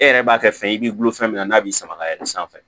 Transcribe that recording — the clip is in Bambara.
E yɛrɛ b'a kɛ fɛn ye i b'i bolo fɛn min n'a b'i sama ka yɛlɛ sanfɛ